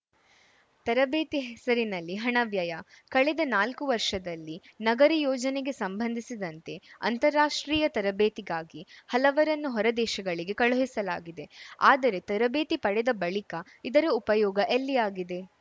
ತರಬೇತಿ ಹೆಸರಿನಲ್ಲಿ ಹಣ ವ್ಯಯ ಕಳೆದ ನಾಲ್ಕು ವರ್ಷದಲ್ಲಿ ನಗರ ಯೋಜನೆಗೆ ಸಂಬಂಧಿಸಿದಂತೆ ಅಂತಾರಾಷ್ಟ್ರೀಯ ತರಬೇತಿಗಾಗಿ ಹಲವರನ್ನು ಹೊರ ದೇಶಗಳಿಗೆ ಕುಳುಹಿಸಲಾಗಿದೆ ಆದರೆ ತರಬೇತಿ ಪಡೆದ ಬಳಿಕ ಇದರ ಉಪಯೋಗ ಎಲ್ಲಿ ಆಗಿದೆ